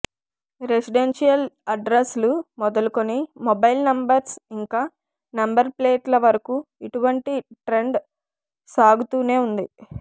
residential అడ్రస్లు మొదలకుని mobile numbers ఇంకా నెంబర్ ప్లేట్ల వరకు ఇటువంటి ట్రెండ్ కొససాగుతూనే ఉంది